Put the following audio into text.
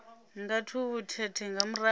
nga tshubu thethe nga murahu